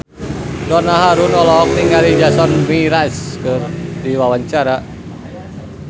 Donna Harun olohok ningali Jason Mraz keur diwawancara